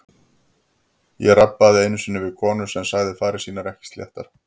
Ég rabbaði einu sinni við konu sem sagði farir sínar ekki sléttar.